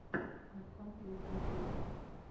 архангел в ютюбе